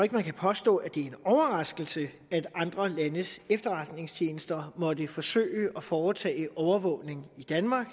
kan påstå at det er en overraskelse at andre landes efterretningstjenester måtte forsøge at foretage overvågning i danmark